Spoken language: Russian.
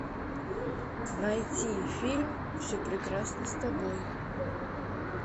найти фильм все прекрасно с тобой